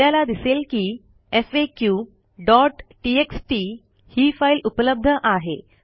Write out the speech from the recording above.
आपल्याला दिसेल की faqटीएक्सटी ही फाईल उपलब्ध आहे